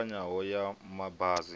i ṱavhanyaho ya ma basi